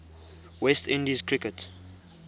west indies cricket